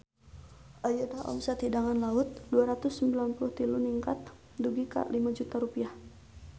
Ayeuna omset Hidangan Laut 293 ningkat dugi ka 5 juta rupiah